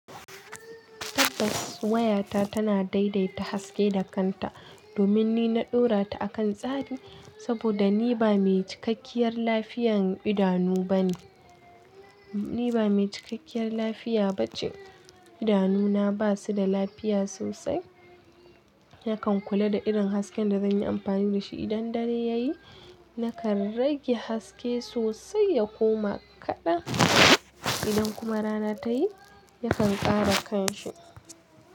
Tabbas wayata tana daidaita haske da kanta domin ni na ɗora ta akan tsari saboda ni ba mai cikakkiyar lafiyar idanu bane. Ni ba mai cikakkiyar lafiya ba ce. Idanuna ba su da lafiya sosai, yakan kula da irin hasken da zan yi amfani da shi. Idan dare ya yi, nakan rage haske sosai ya koma kaɗa. Idan kuma rana ta yi, yakan ƙara kanshi.